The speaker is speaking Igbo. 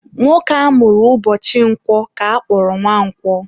Nwoke amụrụ ụbọchị Nkwọ ka akpọrọ Nwankwo.